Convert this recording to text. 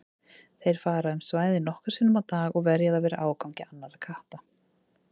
Þeir fara um svæðið nokkrum sinnum á dag og verja það fyrir ágangi annarra katta.